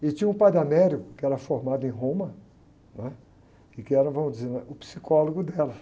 E tinha um, que era formado em Roma, né? E que era, vamos dizer, o psicólogo dela.